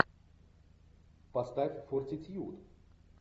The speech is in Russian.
поставь фортитьюд